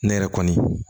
Ne yɛrɛ kɔni